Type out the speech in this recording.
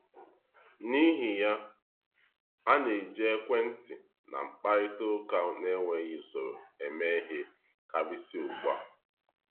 N’ihi ya, a na-eji ekwentị na mkparịta ụka n’enweghị usoro eme ihe karịsịa ugbu a.